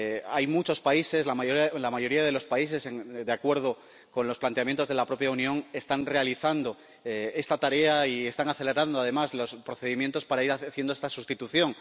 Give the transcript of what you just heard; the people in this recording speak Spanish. Hay muchos países —la mayoría de los países— que, de acuerdo con los planteamientos de la propia Unión, están realizando esta tarea y están acelerando además los procedimientos para ir haciendo esta sustitución.